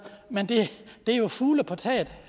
men det er jo fugle på taget